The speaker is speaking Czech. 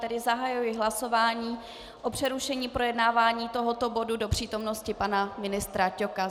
Tedy zahajuji hlasování o přerušení projednávání tohoto bodu do přítomnosti pana ministra Ťoka.